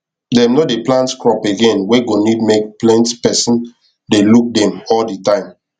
dem no dey plant crop again wey go need make plent pesin dey look dem all de time